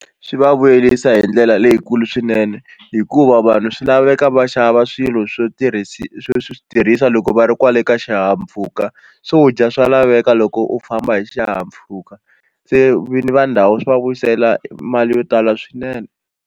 Swi va vuyerisa hi ndlela leyikulu swinene hikuva vanhu swi laveka va xava swilo swo swo swi tirhisa loko va ri kwale ka xihahampfuka swo dya swa laveka loko u famba hi xihahampfhuka se vinyi va ndhawu swi va vuyisela mali yo tala swinene.